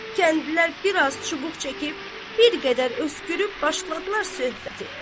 Kəndlilər biraz çubuq çəkib, bir qədər öskürüb başladılar söhbətə.